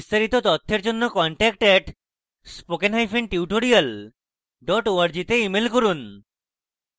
বিস্তারিত তথ্যের জন্য contact @spokentutorial org তে ইমেল করুন